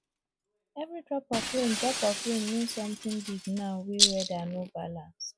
every drop of rain drop of rain mean something big now wey weather no balance